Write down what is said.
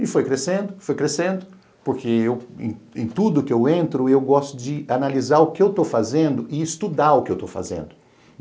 E foi crescendo, foi crescendo, porque eu em em tudo que eu entro eu gosto de analisar o que eu estou fazendo e estudar o que eu estou fazendo.